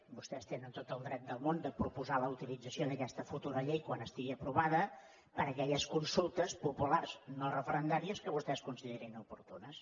vostès tenen tot el dret del món de proposar la utilització d’aquesta futura llei quan estigui aprovada per a aquelles consultes populars no referendàries que vostès considerin oportunes